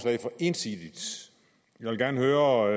ensidigt jeg vil gerne høre